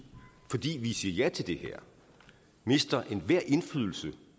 fordi vi siger ja til det her mister enhver indflydelse